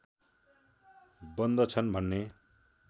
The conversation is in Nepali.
बन्दछन् भन्ने